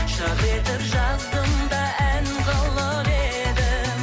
жыр етіп жаздым да ән қылып едім